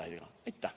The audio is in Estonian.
Aitäh!